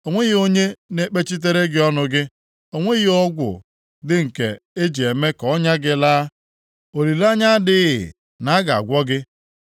O nweghị onye na-ekpechitere gị ọnụ gị, o nweghị ọgwụ dị nke e ji eme ka ọnya gị laa. Olileanya adịghị na a ga-agwọ gị.